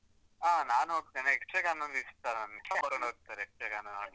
ಹಾ ನಾನ್ ಹೋಗ್ತೇನೆ, ಯಕ್ಷಗಾನ ಅಂದ್ರೆ ಇಷ್ಟ ನಂಗೆ, ಕರ್ಕೊಂಡ್ ಹೋಗ್ತರೆ ಯಕ್ಷಗಾನ.